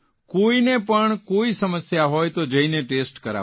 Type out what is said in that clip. કોઇને પણ કોઇ સમસ્યા હોય તો જઇને ટેસ્ટ કરાવો